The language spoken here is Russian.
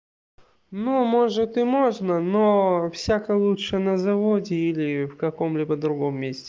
ну может и можно но всяко лучше на заводе или в каком-либо другом месте